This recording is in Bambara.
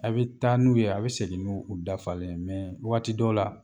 A bɛ taa n'u ye a bɛ segin n'u u dafalen yen waati dɔw la